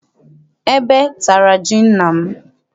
Ebe tara ji nna m.